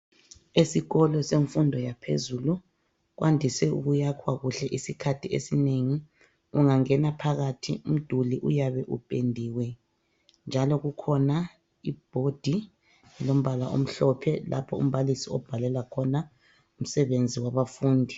Esikolo semfundo yaphezulu kwandise ukuyakhwa kuhle isikhathi isinengi ungangena phakathi umduli uyabe upendiwe njalo kukhona ibhodi elombala omhlophe lapho umbalisi obhalela khona umsebenzi wabafundi.